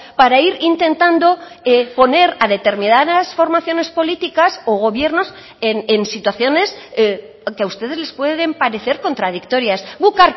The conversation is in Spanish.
para ir intentando poner a determinadas formaciones políticas o gobiernos en situaciones que a ustedes les pueden parecer contradictorias guk